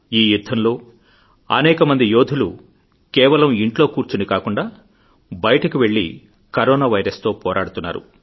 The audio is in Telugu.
ఈ యుద్ధంలో అనేక మంది యోధులు కేవలం ఇంట్లో కూర్చొని కాకుండా బయటకు వెళ్లి కరోనా వైరస్ తో పోరాడుతున్నారు